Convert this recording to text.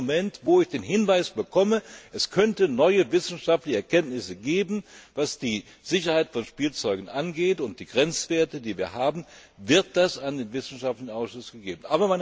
In dem Moment, wo ich den Hinweis bekomme, es könnte neue wissenschaftliche Erkenntnisse geben, was die Sicherheit von Spielzeugen angeht und die Grenzwerte, die wir haben, wird das an den wissenschaftlichen Ausschuss gegeben.